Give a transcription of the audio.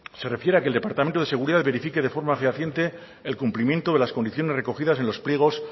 se refiere a que el departamento de seguridad verifique de forma fehaciente el cumplimiento de las condiciones recogidas en los pliegos